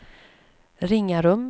Ringarum